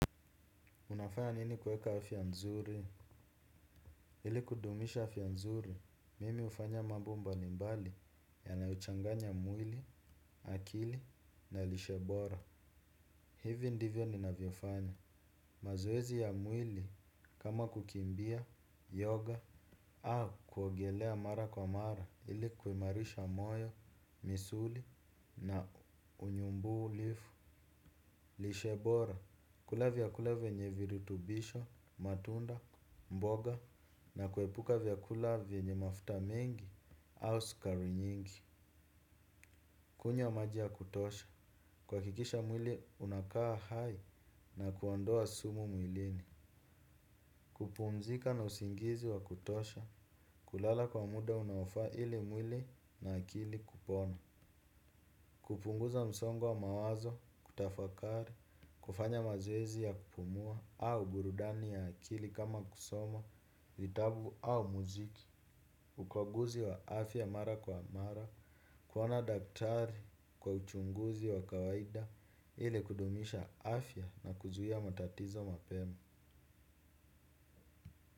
Unafanya nini kueka afya nzuri? Ili kudumisha afa nzuri, mimi hufanya mambo mbalimbali yanayochanganya mwili, akili na lishebora. Hivi ndivyo ninavyofanya. Mazoezi ya mwili, kama kukimbia, yoga, au kuogelea mara kwa mara, ili kuimarisha moyo, misuli na unyumbulifu. Lishe bora, kula vyakula venye virutubisho, matunda, mboga na kuepuka vyakula venye mafuta mingi au skari nyingi. Kunywa maji ya kutosha, kuhakikisha mwili unakaa hai na kuondoa sumu mwilini. Kupumzika na usingizi wa kutosha, kulala kwa muda unaofaa ili mwili na akili kupona. Kupunguza msongo wa mawazo, kutafakari, kufanya mazoezi ya kupumua au burudani ya akili kama kusoma, vitabu au muziki, ukwaguzi wa afya mara kwa mara, kuona daktari kwa uchunguzi wa kawaida, ile kudumisha afya na kuzuia matatizo mapema.